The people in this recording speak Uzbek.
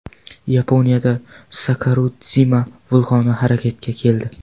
Yaponiyada Sakuradzima vulqoni harakatga keldi.